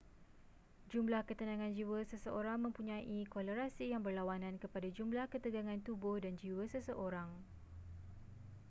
jumlah ketenangan jiwa seseorang mempunyai kolerasi yang berlawanan kepada jumlah ketegangan tubuh dan jiwa seseorang